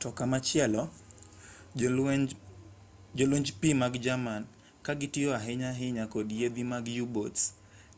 to komachielo jolwenj pi mag jerman ka gitiyo ahinya ahinya kod yiedhi mag u-boats